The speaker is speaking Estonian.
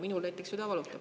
Minul näiteks süda valutab.